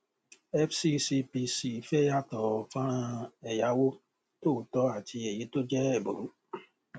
fccpc fẹ yàtọ fọnrán ẹyáwó tòótọ àti èyí tó jẹ ẹbùrú